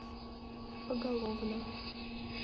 поголовно